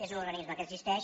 és un organisme que existeix